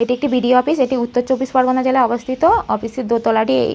এটি একটি BDO office. এটি উত্তর চব্বিশ পরগনা জেলায় অবস্থিত। অফিস এর দোতলা টি ই--